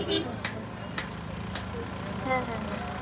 আচ্ছা হ্যাঁ হ্যাঁ হ্যাঁ